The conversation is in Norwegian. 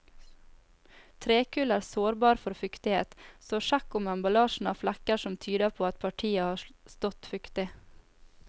Trekull er sårbar for fuktighet, så sjekk om emballasjen har flekker som tyder på at partiet har stått fuktig.